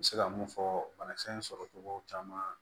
N bɛ se ka mun fɔ banakisɛ in sɔrɔcogo caman